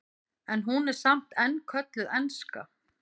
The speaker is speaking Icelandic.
en hún er samt enn kölluð enska